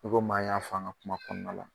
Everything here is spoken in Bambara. I kom'an y'a f'an ŋa kuma kɔɔna la